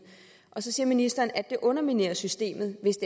og så siger ministeren at det underminerer systemet hvis